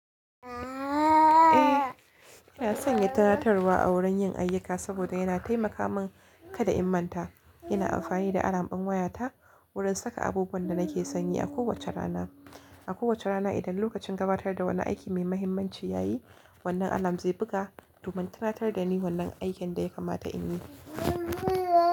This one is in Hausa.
Eh, ina sanya tunatarwa a wurin yin ayyuka saboda yana taimaka min kada in manta. Ina amfani da alarm ɓin wayata wurin saka abubuwan da nake sanye a kowace rana. A kowace rana idan lokacin gabatar da wani aiki mai mahimmanci ya yi, wannan alarm zai buga domin tunatar da ni wannan aikin da ya kamata in yi.